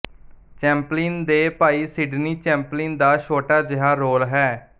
Chaplin ਦੇ ਭਾਈ Sydney Chaplin ਦਾ ਛੋਟਾ ਜਿਹਾ ਰੋਲ ਹੈ